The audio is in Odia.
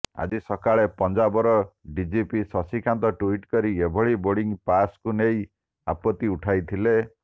ଆଜି ସକାଳେ ପଞ୍ଜାବର ଡିଜିପି ଶଶିକାନ୍ତ ଟ୍ୱିଟ କରି ଏଭଳି ବୋର୍ଡିଂ ପାସ୍କୁ ନେଇ ଆପତ୍ତି ଉଠାଇଥିଲେ